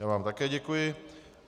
Já vám také děkuji.